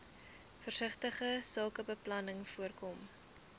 versigtige sakebeplanning voorkom